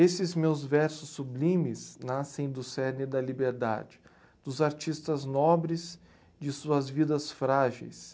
Esses meus versos sublimes nascem do cerne da liberdade, dos artistas nobres, de suas vidas frágeis.